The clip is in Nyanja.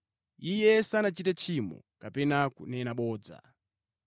“Iye sanachite tchimo kapena kunena bodza.”